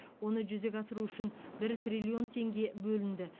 оны жүзеге асыру үшін бір триллион теңге бөлінді